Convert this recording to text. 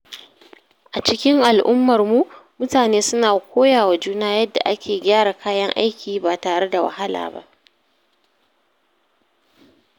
A cikin al’ummarmu, mutane suna koya wa juna yadda ake gyara kayan aiki ba tare da wahala ba.